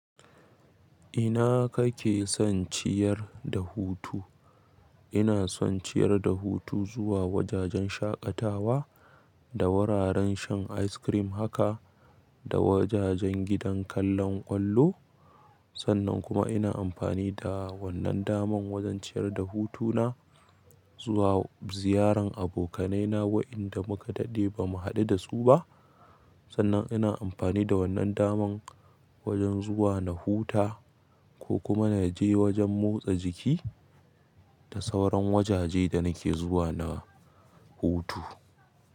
Ina kake son ciyar da hutu? Ina son ciyar da hutu zuwa wajajen shaƙatawa da wuraren shan ice cream haka da wajajen gidan kallon ƙwallo. Sannan kuma ina amfani da wannan daman wajen ciyar da hutuna zuwa ziyaran abokanaina waɗanda muka daɗe ba mu haɗu da su ba. Sannan ina amfani da wannan daman wajen zuwa na huta ko kuma na je wajen motsa jiki da sauran wajaje da nake zuwa na hutu.